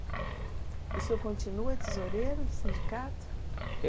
E o senhor continua tesoureiro do sindicato?